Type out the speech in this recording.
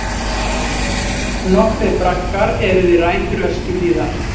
Nokkrir braggar eru við rætur Öskjuhlíðar.